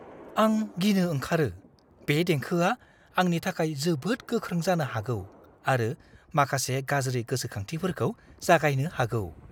आं गिनो ओंखारो बे देंखोआ आंनि थाखाय जोबोद गोख्रों जानो हागौ आरो माखासे गाज्रि गोसोखांथिफोरखौ जागायनो हागौ।